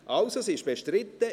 Also, sie ist bestritten.